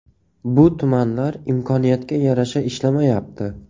Bu tumanlar imkoniyatga yarasha ishlamayapti.